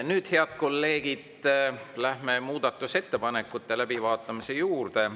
Nüüd, head kolleegid, läheme muudatusettepanekute läbivaatamise juurde.